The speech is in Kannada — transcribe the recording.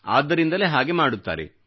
ಆದ್ದರಿಂದಲೇ ಹಾಗೆ ಮಾಡುತ್ತಾರೆ